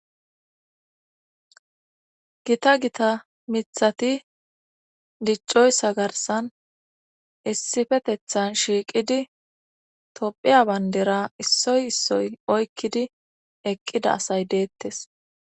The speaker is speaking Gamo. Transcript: Gita gita mithati diccoyssa garsan issifetethan shiiqidi tophiya bandera issoy issoy oykkidi eqqida asay deettes.